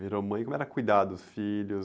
Virou mãe, como era cuidar dos filhos?